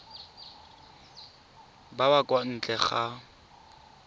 ba ba kwa ntle ga